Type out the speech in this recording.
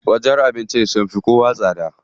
Wajen abincin sun fi kowa tsada.